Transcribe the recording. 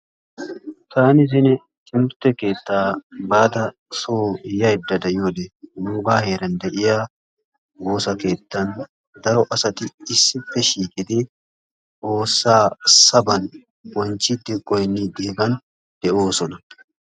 Taani zino timirte keetta bada soo yaydda de'iyode nuugaa heeran de'iya woosa keettan daro asati issippe shiiqidi xoosaa saban bonchiidi goyniidi hegan de'oosona.